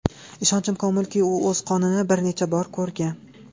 Ishonchim komilki, u o‘z qonini bir necha bor ko‘rgan.